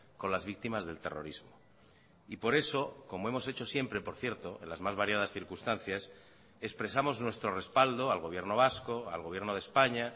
con las victimas del terrorismo y por eso como hemos hecho siempre por cierto en las más variadas circunstancias expresamos nuestro respaldo al gobierno vasco al gobierno de españa